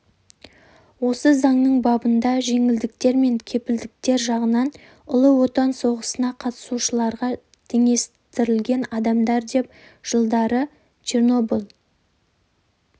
осы заңның бабында жеңілдіктер мен кепілдіктер жағынан ұлы отан соғысына қатысушыларға теңестірілген адамдар деп жылдары чернобыль